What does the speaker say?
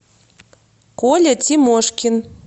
коля тимошкин